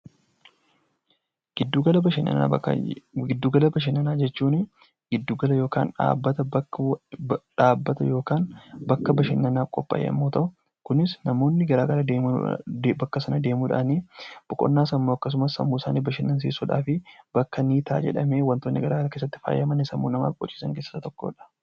Giddugala bashannanaa, giddugala bashannanaa jechuun giddugala yookaan dhaabbata yookaan bakka bashannanaa qophaa'ee yemmuu ta'u kunis namoonni bakka sana deemuudhaan boqonnaa sammuu akkasumas sammuu isaanii bashannansiisuudhaaf bakka ni ta'a jedhamee waantonni garaagaraa keessatti faayaman sammuu namaa boqochiisan keessaa tokkodha.